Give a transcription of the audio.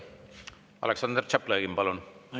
Aleksandr Tšaplõgin, palun!